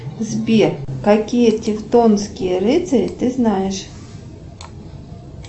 сбер какие тевтонские рыцари ты знаешь